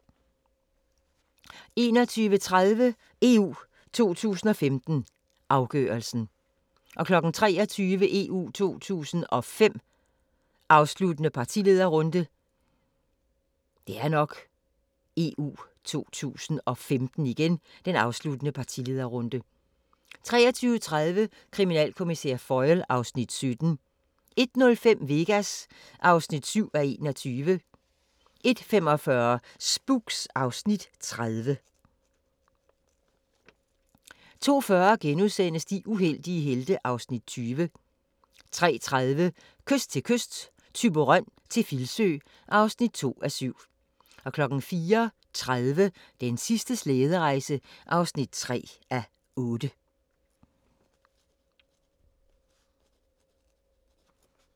21:30: EU 2015: Afgørelsen 23:00: EU 2105: Afsluttende partilederrunde 23:30: Kriminalkommissær Foyle (Afs. 17) 01:05: Vegas (7:21) 01:45: Spooks (Afs. 30) 02:40: De uheldige helte (Afs. 20)* 03:30: Kyst til kyst – Thyborøn til Filsø (2:7) 04:30: Den sidste slæderejse (3:8)